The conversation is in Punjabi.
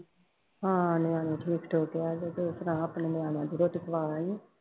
ਹਾਂ ਨਿਆਣੇ ਠੀਕ ਠਾਕ ਹੈ ਤੇ ਤੂੰ ਸੁਣਾ ਆਪਣੀ ਨਿਆਣਿਆਂ ਦੀ, ਰੋਟੀ ਖਵਾ ਆਈ ਹੈ?